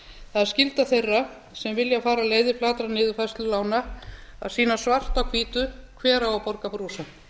það er skylda þeirra sem vilja fara leiðir fara niðurfærslu lána að sýna svart á hvítu hver á að borga brúsann